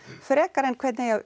frekar en hvernig eigi að